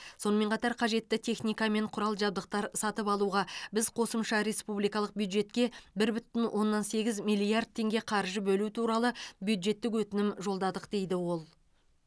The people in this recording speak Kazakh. сонымен қатар қажетті техника мен құрал жабдықтар сатып алуға біз қосымша республикалық бюджетке бір бүтін оннан сегіз миллиард теңге қаржы бөлу туралы бюджеттік өтінім жолдадық дейді ол